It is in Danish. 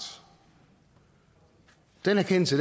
den erkendelse